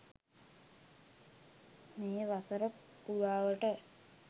මේ වසර පුරාවට